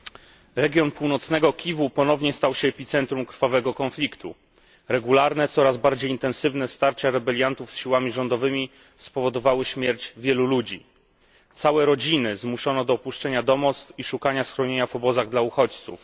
Panie Przewodniczący! Region północnego Kiwu ponownie stał się epicentrum krwawego konfliktu. Regularne, coraz bardziej intensywne starcia rebeliantów z siłami rządowymi spowodowały śmierć wielu ludzi. Całe rodziny zmuszono do opuszczenia domostw i szukania schronienia w obozach dla uchodźców.